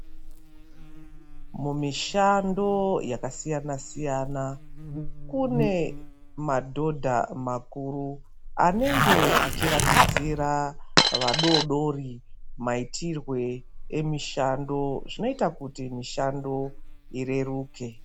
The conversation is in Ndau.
Mumishando yakasiyana-siyana kune madhodha makuru anenge achiratidzira vadoodori maitirwe emishando. Zvinoita kuti mishando ireruke.